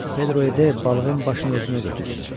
Pedro Ede balığın başını özünə götürsün.